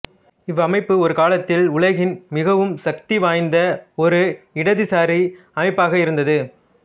இவ்வமைப்பு ஒருகாலத்தில் உலகின் மிகவும் சக்தி வாய்ந்த ஒரு இடதுசாரி அமைப்பாக இருந்தது